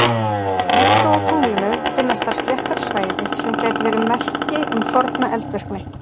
Líkt og á tunglinu finnast þar sléttari svæði sem gætu verið merki um forna eldvirkni.